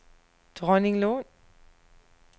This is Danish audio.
Dronninglund